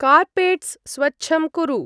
Carpets स्वच्छं कुरु।